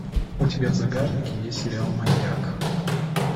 у тебя в загажнике есть сериал маньяк